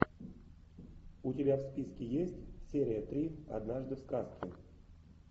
у тебя в списке есть серия три однажды в сказке